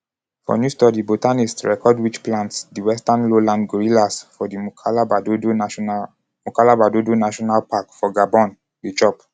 for new study botanists record which plants di western lowland gorillas for di moukalaba-doudou national moukalaba-doudou national park for gabon dey chop.